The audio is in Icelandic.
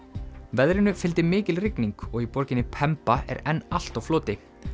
veðrinu fylgdi mikil rigning og í borginni er enn allt á floti